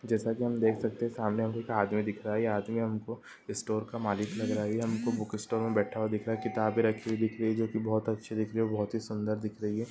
जैसा के हम देख सकते है सामने हमें एक आदमी दिख रहा है यह आदमी हमको स्टोर का मालिक लग रहा है ये हमको बुक स्टोर में बैठा हुआ दिख रहा है किताबें रखी हुई दिख रही है जोकि बोहोत अच्छी दिख रही है बोहोत ही सुन्दर दिख रही हैं।